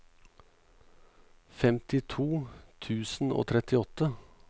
femtito tusen og trettiåtte